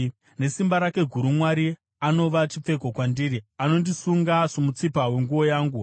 Nesimba rake guru Mwari anova chipfeko kwandiri; anondisunga somutsipa wenguo yangu.